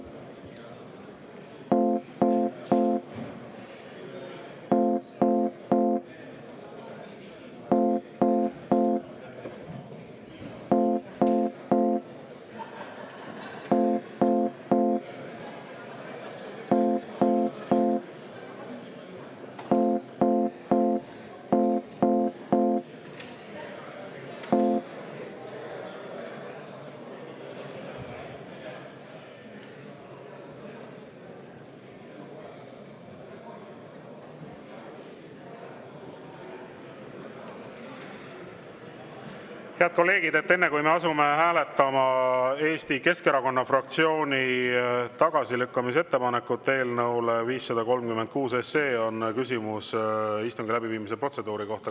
Head kolleegid, enne kui me asume hääletama Eesti Keskerakonna fraktsiooni ettepanekut eelnõu 536 tagasilükkamiseks, on küsimus istungi läbiviimise protseduuri kohta.